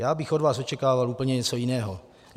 Já bych od vás očekával úplně něco jiného.